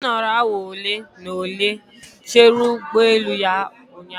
Nkechi nọrọ awa ole na ole chere ụgbọ elu ya ụnyahụ